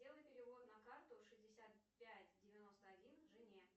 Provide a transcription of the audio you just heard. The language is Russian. сделай перевод на карту шестьдесят пять девяносто один жене